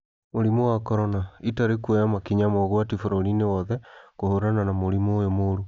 Mũrimũ wa Korona: Italy kũoya makinya ma ũgwati bũrũri-inĩ wothe kũhũrana na mũrimũ ũyũ mũũru